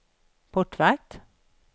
portvakt